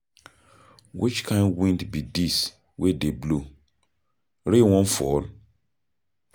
Which kin wind be dis wey dey blow? Rain wan fall?